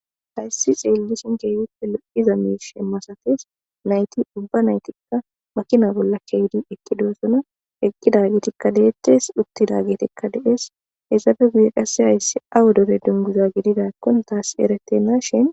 Hayssi xeellishin keyuppe lo7iza mii shemmasates nayti ubba naytikka makina bolla keydi ekki doosona eqqida getikka deettes uttida getikka de7es isaafe guye qase hayssi awu dore dunguza gididakkon taas eretenna shin.